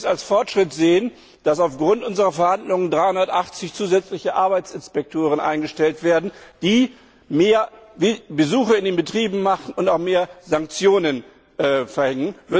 Würden sie es als Fortschritt sehen, dass aufgrund unserer Verhandlungen 380 zusätzliche Arbeitsinspektoren eingestellt werden, die mehr Besuche in den Betrieben machen und auch mehr Sanktionen verhängen?